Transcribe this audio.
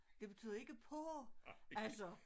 Det betyder ikke på altså